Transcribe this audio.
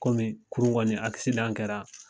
Kɔmi kurun kɔni kɛra